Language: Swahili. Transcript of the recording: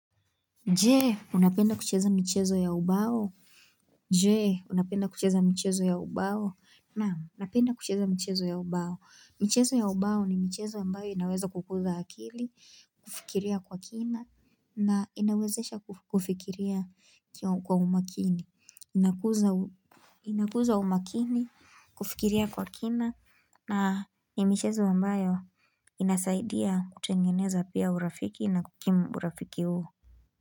Jee, unapenda kucheza michezo ya ubao je, unapenda kucheza michezo ya ubao Naam napenda kucheza michezo ya ubao michezo ya ubao ni michezo ambayo inaweza kukuza akili, kufikiria kwa kina na inawezesha kufikiria kwa umakini Inakuza umakini, kufikiria kwa kina na ni michezo ambayo inasaidia kutengeneza pia urafiki na kukimu urafiki huo.